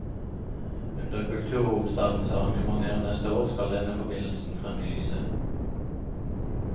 Under kulturhovedstadens arrangementer neste år skal denne forbindelsen frem i lyset.